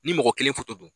Ni mɔgɔ kelen foto don